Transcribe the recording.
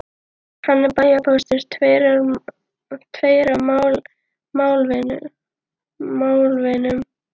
Hann er bæjarpóstur, tveir af málvinum